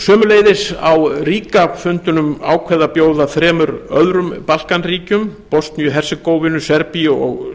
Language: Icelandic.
sömuleiðis var á ríga fundunum ákveðið að bjóða þremur öðrum balkanríkjum bosníu hersegóvínu serbíu og